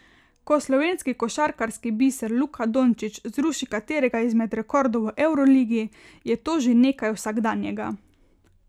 Ko slovenski košarkarski biser Luka Dončić zruši katerega izmed rekordov v evroligi, je to že nekaj vsakdanjega.